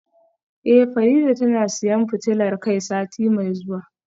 Eh Farida tana siyan fitilar kai sati mai zuwa